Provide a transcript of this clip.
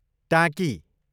टाँकी